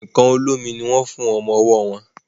nkán olómi ní wón fún ọmọ ọwó wón.